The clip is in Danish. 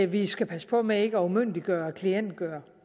vi skal passe på med ikke at umyndiggøre og klientgøre